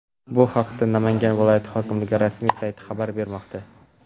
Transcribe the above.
Bu haqda Namangan viloyati hokimligi rasmiy sayti xabar bermoqda .